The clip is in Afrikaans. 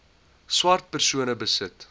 swart persone besit